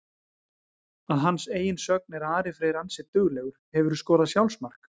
Að hans eigin sögn er Ari Freyr ansi duglegur Hefurðu skorað sjálfsmark?